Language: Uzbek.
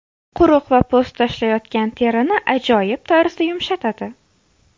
Quruq va po‘st tashlayotgan terini ajoyib tarzda yumshatadi.